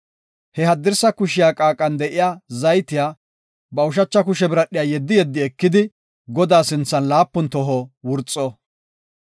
He haddirsa kushiya qaaqan de7iya zaytiya ba ushacha kushe biradhiya yeddi yeddi ekidi, Godaa sinthan laapun toho wurxo.